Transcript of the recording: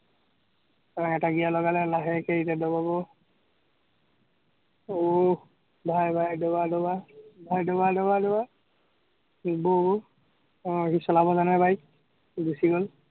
এটা gear লগালে, লাহেকে এতিয়া দবাব, আহ ভাই ভাই দবা দবা, ভাই দবা দবা, আহ সি চলব জানে bike গুচি গ'ল।